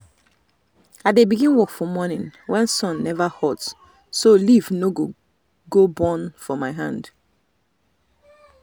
i dey begin work for morning when sun never hot so leaf no go burn for my hand.